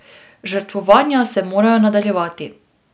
Žrtvovanja se morajo nadaljevati.